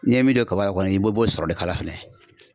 N'i ye min don kaba kɔni i b'o bo sɔrɔ de k'a la fɛnɛ.